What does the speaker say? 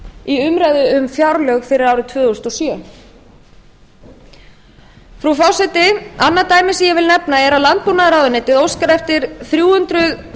í umræðu um fjárlög fyrir árið tvö þúsund og sjö frú forseti annað dæmi sem ég vil nefna er að landbúnaðarráðuneytið óskar eftir þrjú hundruð